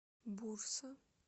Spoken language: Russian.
бурса